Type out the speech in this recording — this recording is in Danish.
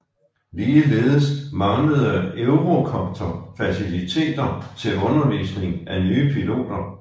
Ligeledes manglede Eurocopter faciliteter til undervisning af nye piloter